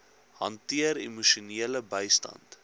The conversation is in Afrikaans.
hanteer emosionele bystand